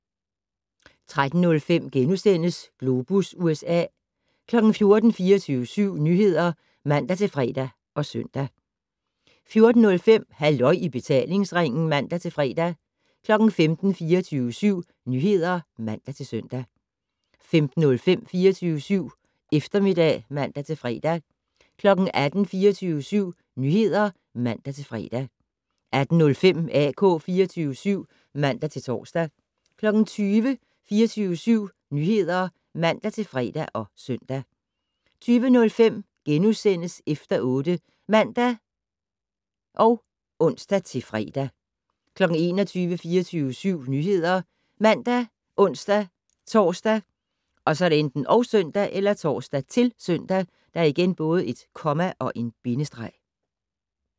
13:05: Globus USA * 14:00: 24syv Nyheder (man-fre og søn) 14:05: Halløj i betalingsringen (man-fre) 15:00: 24syv Nyheder (man-søn) 15:05: 24syv Eftermiddag (man-fre) 18:00: 24syv Nyheder (man-fre) 18:05: AK 24syv (man-tor) 20:00: 24syv Nyheder (man-fre og søn) 20:05: Efter 8 *(man og ons-fre) 21:00: 24syv Nyheder ( man, ons-tor, -søn)